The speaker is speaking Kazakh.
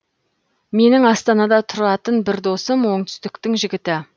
менің астанада тұратын бір досым оңтүстіктің жігіті